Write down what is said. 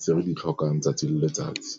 tse re di tlhokang 'tsatsi le letsatsi.